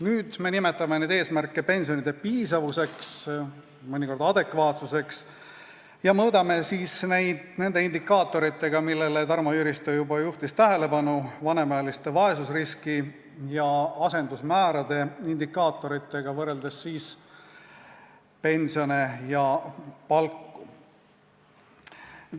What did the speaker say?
Nüüd me nimetame neid eesmärke pensioni piisavuseks, mõnikord adekvaatsuseks, ja mõõdame neid indikaatoritega, millele Tarmo Jüristo juba tähelepanu juhtis – vanemaealiste vaesusriski ja asendusmäära indikaatoritega, võrreldes pensione ja palku.